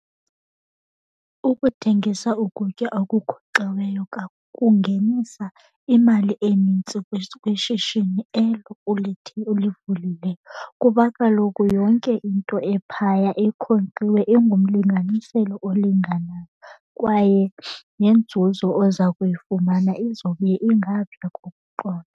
Ukuthengisa ukutya okunkonkxiweyo kungenisa imali enintsi kwishishini elo ulivulileyo. Kuba kaloku yonke into ephaya enkonkxiwe ingumlinganiselo olinganayo kwaye nenzuzo oza kuyifumana izobe ingaphaya kokuqonda.